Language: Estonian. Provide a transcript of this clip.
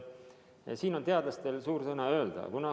Ja siin on teadlastel suur sõna öelda.